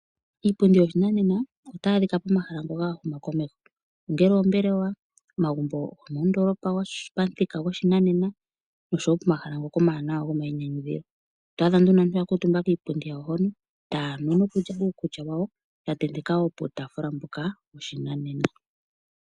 Iipundi yoshinanena otayi adhika pomahala ngoka ga huma komeho ongele ombelewa omagumbo gomoondolopa gopamuthika goshinanena nopoma hala ngoka omawanawa gomayinyanyuthilo. Oto adha aantu ya kamutumba kiipundi yawo hono taya nu nokulya uukulya wawo ya tenteka puutafula mboka woshinanena.